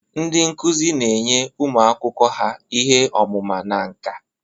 Ndị nkuzi na-enye ụmụ akwụkwọ ha ihe ọmụma na nka.